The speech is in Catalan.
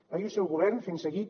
ahir el seu govern fent seguit